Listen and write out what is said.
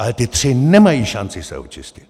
Ale ti tři nemají šanci se očistit!